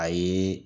Ayi